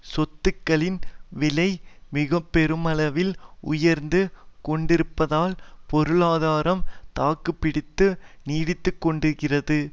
சொத்துக்களின் விலை மிக பெருமளவில் உயர்ந்து கொண்டிருப்பதால் பொருளாதாரம் தாக்கு பிடித்து நீடித்து கொண்டிருக்கிறது